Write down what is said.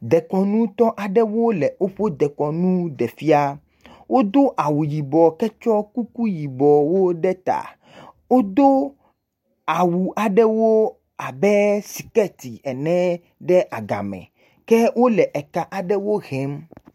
Dekɔnutɔ aɖewo le woƒe dekɔnu ɖe fia. Wodo awu yibɔ ketsɔ kuku yibɔ ɖe ta, wodo awu aɖewo abe sikɛti ene ɖe agame. Ke wole eka aɖewo hem.